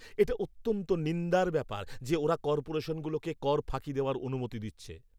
এটা অত্যন্ত নিন্দার ব্যাপার যে ওরা কর্পোরেশনগুলোকে কর ফাঁকি দেওয়ার অনুমতি দিচ্ছে।